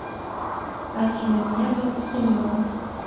афина меня зовут семен